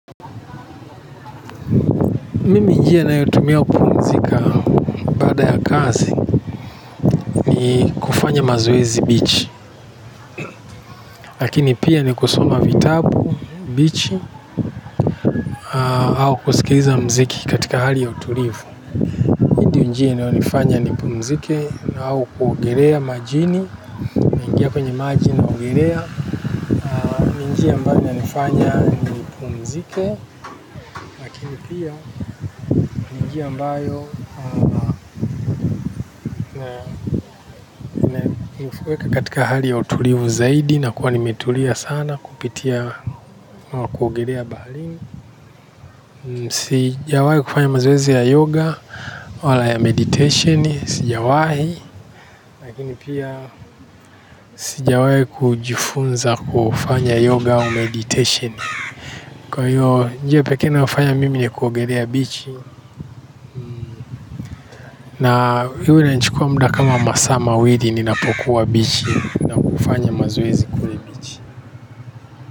Mimi njia ninayotumia kupumzika baada ya kazi ni kufanya mazoezi bichi. Lakini pia ni kusoma vitabu bichi. Au kusikiza mziki katika hali ya utulivu. Ndiyo njia inayonifanya nipumzike au kuogelea majini. Naingia kwenye majini naogelea. Ni njia ambayo inanifanya nipumzike lakini pia ni njia ambayo na nifuweka katika hali ya utulivu zaidi na kuwa nimetulia sana kupitia na kuogelea baharini. Sijawahi kufanya mazoezi ya yoga. Wala ya meditation. Sijawahi. Lakini pia sijawahi kujifunza kufanya yoga au meditation. Kwa hiyo njia pekee inayofanya mimi ni kuogelea bichi. Na hili lilinichukua muda kama masaa mawili ninapokuwa bichi. Ninapofanya mazoezi kule bichi.